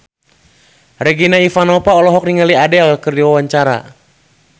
Regina Ivanova olohok ningali Adele keur diwawancara